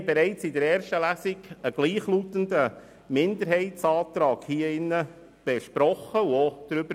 Bereits in der ersten Lesung besprachen wir hier einen gleichlautenden Minderheitsantrag und befanden darüber.